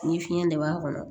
Ni fiɲɛ de b'a kɔnɔ